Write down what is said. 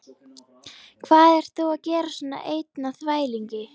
Hvað ert þú að gera svona einn á þvælingi?